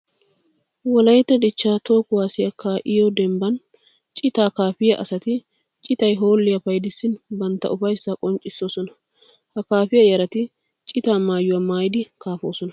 Wolaytta dichcha toho kuwasiya kaa'iyo dembban citaa kaafiya asatti citay hoolliya payddissin bantta ufayssa qonccisosonna. Ha kaafiya yarati citaa maayuwa maayiddi kaafosonna.